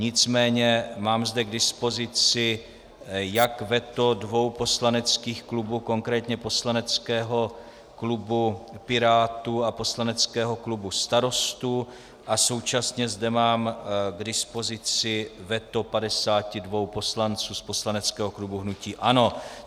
Nicméně mám zde k dispozici jak veto dvou poslaneckých klubů - konkrétně poslaneckého klubu Pirátů a poslaneckého klubu Starostů - a současně zde mám k dispozici veto 52 poslanců z poslaneckého klubu hnutí ANO.